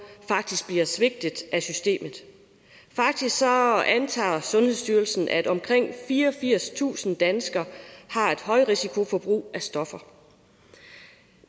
faktisk bliver svigtet af systemet faktisk antager sundhedsstyrelsen at omkring fireogfirstusind danskere har et højrisikoforbrug af stoffer